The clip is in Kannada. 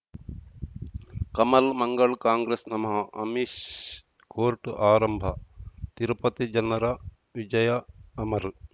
ಕಮಲ್ ಮಂಗಳ್ ಕಾಂಗ್ರೆಸ್ ನಮಃ ಅಮಿಷ್ ಕೋರ್ಟ್ ಆರಂಭ ತಿರುಪತಿ ಜನರ ವಿಜಯ ಅಮರ್